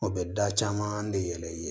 O bɛ da caman de yɛlɛ